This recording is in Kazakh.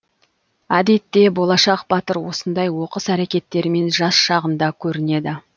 әдетте болашақ батыр осындай оқыс әрекеттерімен жас шағында көрінеді